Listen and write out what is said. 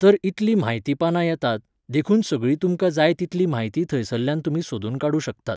तर इतलीं म्हायती पानां येतात, देखून सगळी तुमकां जाय तितली म्हायती थंयसरल्यान तुमी सोदून काडूं शकतात.